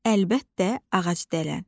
Əlbəttə, ağacdələn.